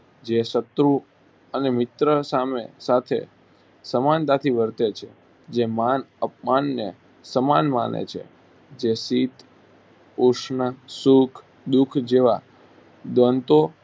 જે શત્રુ અને મિત્ર સામે સાથે સમાનતાથી વર્તે છે જે માન અપમાનને સમાન માને છે જે શીત-ઉષ્ણ, સુખ-દુખ જેવા દ્વંદ્ધો